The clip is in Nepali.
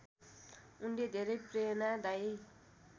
उनले धेरै प्रेरणादायी